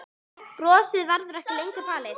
Brosið verður ekki lengur falið.